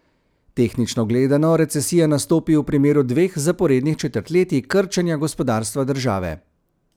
Tehnično gledano recesija nastopi v primeru dveh zaporednih četrtletij krčenja gospodarstva države.